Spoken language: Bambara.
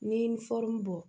Ni bɔ